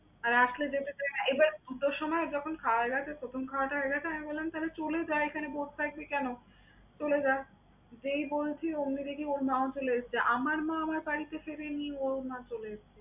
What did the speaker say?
আর আসলে যেতে চায় না। এবার দুটোর সময় যখন খাওয়া হয়ে গেছে, প্রথম খাওয়াটা হয়ে গেছে আমি বললাম, তাহলে চলে যা এখানে বসে থাকবি কেন? চলে যা। যেই বলছি ওমনি দেখি ওর মাও চলে এসেছে। আমার মা আমার বাড়িতে ফেরেনি, ওর মা চলে এসছে।